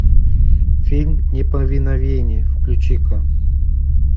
фильм неповиновение включи ка